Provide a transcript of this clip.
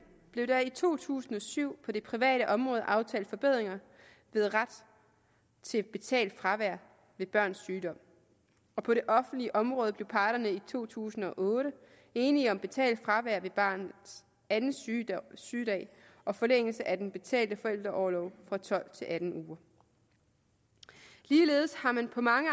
blev der i to tusind og syv på det private område aftalt forbedringer med ret til betalt fravær ved børns sygdom og på det offentlige område blev parterne i to tusind og otte enige om betalt fravær ved barnets anden sygedag sygedag og forlængelse af den betalte forældreorlov fra tolv til atten uger ligeledes har man på mange